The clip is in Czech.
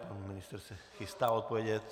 Pan ministr se chystá odpovědět.